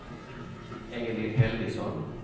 Elin Helgesson